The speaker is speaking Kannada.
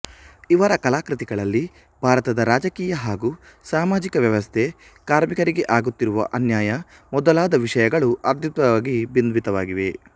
ಇವರ ಕಲಾಕೃತಿಗಳಲ್ಲಿ ಭಾರತದ ರಾಜಕೀಯ ಹಾಗೂ ಸಾಮಾಜಿಕ ವ್ಯವಸ್ಥೆ ಕಾರ್ಮಿಕರಿಗೆ ಆಗುತ್ತಿರುವ ಅನ್ಯಾಯ ಮೊದಲಾದ ವಿಷಯಗಳು ಅದ್ಭುತವಾಗಿ ಬಿಂಬಿತವಾಗಿವೆ